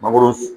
Mangoro